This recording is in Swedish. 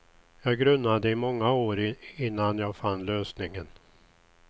Jag grunnade i många år innan jag fann lösningen.